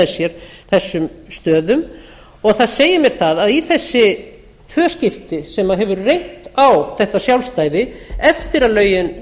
sér þessum stöðum og það segir mér það að í þessi tvö skipti sem það hefur reynt á þetta sjálfstæði eftir að lögin